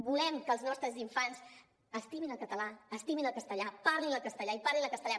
volem que els nostres infants estimin el català estimin el castellà parlin el català i parlin el castellà